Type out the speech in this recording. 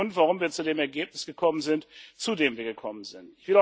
Das ist der Grund, warum wir zu dem Ergebnis gekommen sind, zu dem wir gekommen sind.